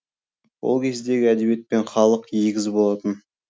ол кездегі әдебиет пен халық егіз болатын